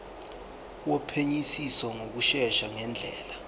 wophenyisiso ngokushesha ngendlela